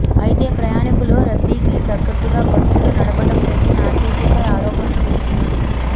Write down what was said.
అయితే ప్రయాణీకుల రద్దీకి తగ్గట్టుగా బస్సులు నడపడం లేదని ఆర్టీసీపై ఆరోపణలు వస్తున్నాయి